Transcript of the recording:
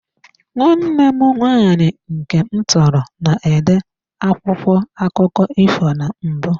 Nwanne m nwaanyị nke m tọrọ, na-ede akwụkwọ akụkọ ifo na mbụ.